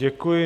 Děkuji.